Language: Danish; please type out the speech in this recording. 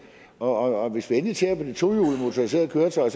og hvis vi endelig ser på de tohjulede motoriserede køretøjer